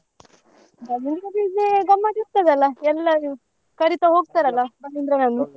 ಬಲೀಂದ್ರ ಪೂಜೆ ಗಮ್ಮತ್ ಇರ್ತದಲ್ಲ ಎಲ್ಲರೂ ಕರಿತ .